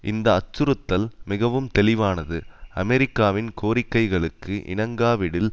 இந்த அச்சுறுத்தல் மிகவும் தெளிவானது அமெரிக்காவின் கோரிக்கைகளுக்கு இணங்காவிடில்